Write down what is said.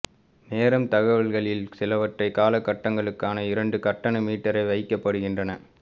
நேரம் தகவல்களில் சிலவற்றை கால கட்டங்களுக்கான இரண்டு கட்டணம் மீட்டரைச் வைக்கப்படுகின்றன